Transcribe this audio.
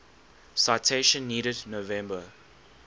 citation needed november